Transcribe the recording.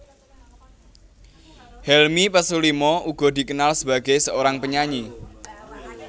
Helmi Pesulima juga dikenal sebagai seorang penyanyi